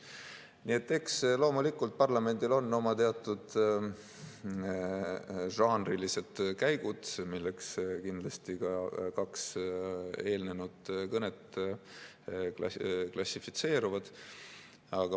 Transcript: " Nii et eks loomulikult parlamendil on oma teatud žanrilised käigud, milleks kindlasti ka kaks eelnenud kõnet klassifitseeruvad.